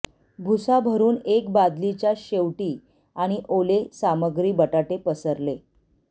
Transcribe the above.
भूसा भरुन एक बादली च्या शेवटी आणि ओले सामग्री बटाटे पसरली